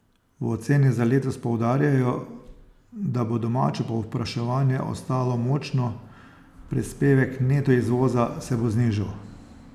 V oceni za letos poudarjajo, da bo domače povpraševanje ostalo močno, prispevek neto izvoza se bo znižal.